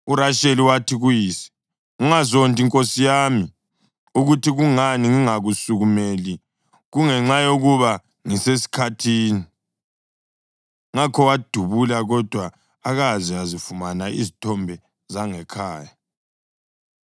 URasheli wathi kuyise, “Ungazondi nkosi yami ukuthi kungani ngingakusukumeli, kungenxa yokuba ngisesikhathini.” Ngakho wabhudula, kodwa akaze azifumana izithombe zangekhaya.